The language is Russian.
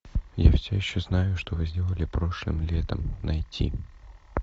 я все еще знаю что вы сделали прошлым летом найти